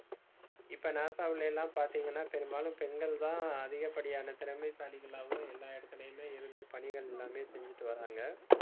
இப்ப NASA வுல எல்லாம் பாத்தீங்கன்னா, பெரும்பாலும் பெண்கள்தான் அதிகப்படியான திறமைசாலிகளாவும் எல்லா இடத்துலயுமே இருந்து, பணிகள் எல்லாமே செஞ்சிட்டு வர்றாங்க